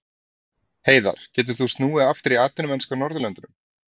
Heiðar getur þá snúið aftur í atvinnumennsku á Norðurlöndunum.